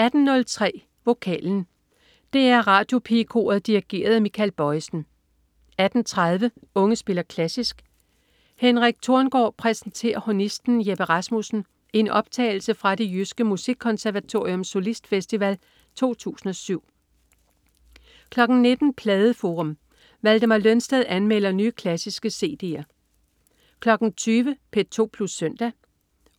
18.03 Vokalen. DR Radiopigekoret dirigeret af Michael Bojesen 18.30 Unge spiller klassisk. Henrik Thorngaard præsenterer hornisten Jeppe Rasmussen i optagelse fra Det Jyske Musikkonservatoriums Solistfestival 2007 19.00 Pladeforum. Valdemar Lønsted anmelder nye, klassiske cd'er 20.00 P2 Plus Søndag.